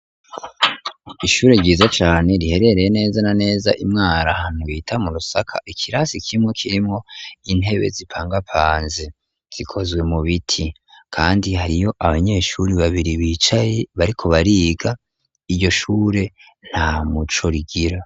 Ishure ryiza cane riherereye neza na neza imwaro ahantu bita mu Rusaka ikirasi kimwe kirimwo intebe zipangapanze zikozwe mu biti kandi hariyo abanyeshuri babiri bicaye bariko bariga iryo shure ntamuco rigira